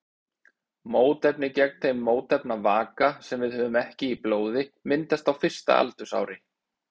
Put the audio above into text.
Mótefni gegn þeim mótefnavaka sem við höfum ekki í blóði myndast á fyrsta aldursári.